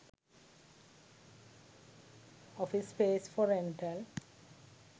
office space for rental